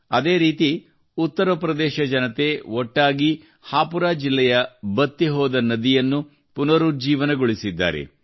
ಅದೇ ರೀತಿ ಉತ್ತರಪ್ರದೇಶ ಜನತೆ ಒಟ್ಟಾಗಿ ಹಾಪು ಜಿಲ್ಲೆಯ ಬತ್ತಿಹೋದ ನದಿಯನ್ನು ಪುನರುಜ್ಜೀವನಗೊಳಿಸಿದ್ದಾರೆ